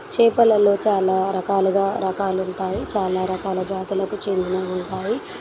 చేపలలో చాలా రకాలుగా రకాలు ఉంటాయి చాలా రకాల జాతులకు చెందినవి ఉంటాయి.